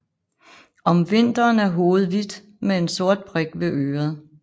Om vinteren er hovedet hvidt med en sort prik ved øret